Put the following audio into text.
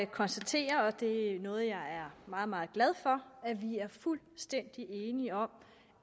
konstatere og det er noget jeg er meget meget glad for at vi er fuldstændig enige om